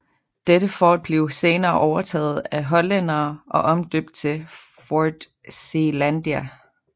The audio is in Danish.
Dette fort blev senere overtaget af hollændere og omdøbt til Fort Zeelandia